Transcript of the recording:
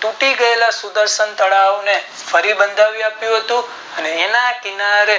તૂટી ગયેલા સુર દર્શન તળાવ ને ફરી બંધાવ્યું હતું અને એના કિનારે